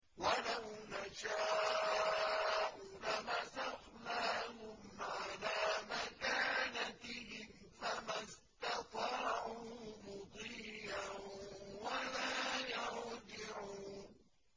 وَلَوْ نَشَاءُ لَمَسَخْنَاهُمْ عَلَىٰ مَكَانَتِهِمْ فَمَا اسْتَطَاعُوا مُضِيًّا وَلَا يَرْجِعُونَ